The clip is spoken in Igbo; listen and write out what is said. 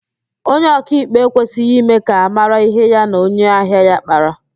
Onye ọkaikpe ekwesịghị ime ka ámárá ihe ya na onye ahịa ya kpara